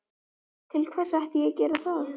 Til hvers ætti ég að gera það?